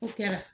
O kɛra